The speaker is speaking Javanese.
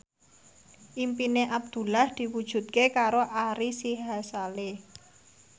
impine Abdullah diwujudke karo Ari Sihasale